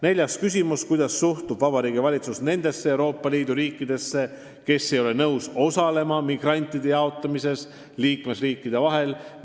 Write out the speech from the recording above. Neljas küsimus: "Kuidas suhtub Vabariigi Valitsus nendesse Euroopa Liidu riikidesse, kes ei ole nõus osalema migrantide jaotamises liikmesriikide vahel?